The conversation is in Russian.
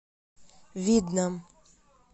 видном